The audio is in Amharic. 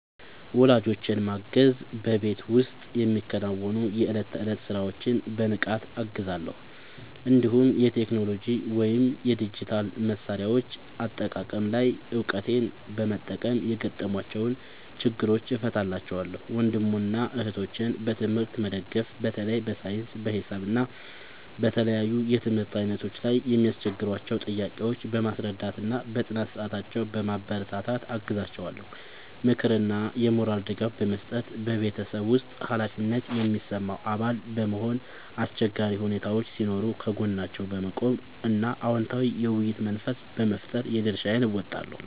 ወላጆቼን ማገዝ በቤት ውስጥ የሚከናወኑ የዕለት ተዕለት ሥራዎችን በንቃት እገዛለሁ፤ እንዲሁም የቴክኖሎጂ ወይም የዲጂታል መሣሪያዎች አጠቃቀም ላይ እውቀቴን በመጠቀም የገጠሟቸውን ችግሮች እፈታላቸዋለሁ። ወንድምና እህቶቼን በትምህርት መደገፍ በተለይ በሳይንስ፣ በሂሳብ እና በተለያዩ የትምህርት ዓይነቶች ላይ የሚያስቸግሯቸውን ጥያቄዎች በማስረዳትና በጥናት ሰዓታቸው በማበረታታት አግዛቸዋለሁ። ምክርና የሞራል ድጋፍ መስጠት በቤተሰብ ውስጥ ኃላፊነት የሚሰማው አባል በመሆን፣ አስቸጋሪ ሁኔታዎች ሲኖሩ ከጎናቸው በመቆም እና አዎንታዊ የውይይት መንፈስ በመፍጠር የድርሻዬን እወጣለሁ።